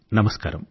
నమస్కారం